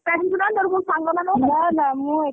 ଏକା ଯିବୁ ନା ତୋର କୋଉ ସାଙ୍ଗମାନ।